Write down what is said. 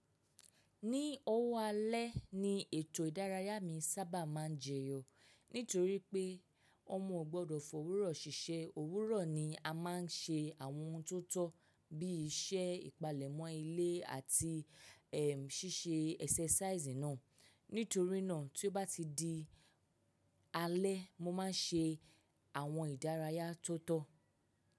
Ní owó alẹ́ ni ètò ìdárayá mi sábà máa ń jẹyọ nítorí pé ọmọ ò gbọdọ̀ f'òwúrò ṣiṣẹ́. Òwúrọ̀ ni a máa ń ṣe àwọn ohun tó tọ́ bí i iṣẹ́ ìpalẹ̀mọ́ ilé àti ẹ sì ṣe ẹsẹ́sáísì náà. Nítorí náà tí ó bá ti di alẹ́ mo máa ń ṣe àwọn ìdárayá tó tọ́.